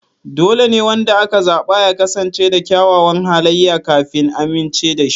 Dole ne wanda aka zaba ya kasance da kyawawan halaye kafin a amincewa da shi.